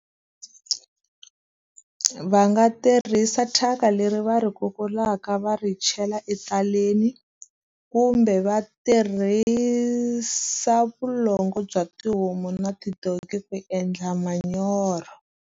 Va nga tirhisa thyaka leri va ri kulaka va ri chela etaleni, kumbe va tirhisa vulongo bya tihomu na tidonki ku endla manyoro.